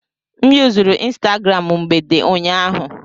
M yuzuru Instagram mgbede ụnyaahụ.